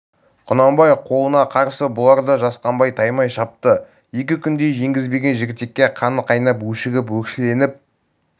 құнанбай қолына қарсы бұлар да жасқанбай таймай шапты екі күндей жеңгізбеген жігітекке қаны қайнап өшігіп өршеленіп